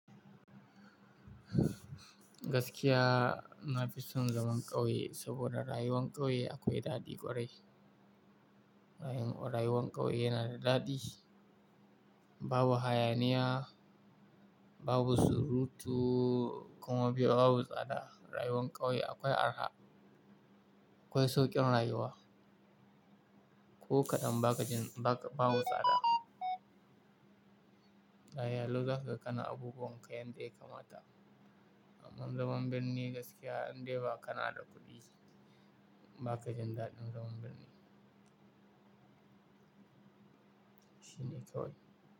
Gaskiya na fi son zaman ƙauye saboda rayuwar ƙauye akwai dadi kwarai. Rayuwar ƙauye yana da dadi, babu hayaniya, babu surutu kuma babu tsada. Rayuwar ƙauye akwai araha, akwai sauƙin rayuwa, ko kaɗan ba babu tsada. Lafia lau za ka gan kana abubuwan ka yanda ya kamata. Amma zaman birni gaskiya indai ba kana da kuɗi ba ka jin dadin zaman birni. Shine ƙawai.